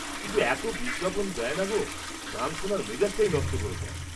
কিন্তু এত বিজ্ঞাপন দেয় না গো, গান শোনার মেজাজটাই নষ্ট করে দেয়।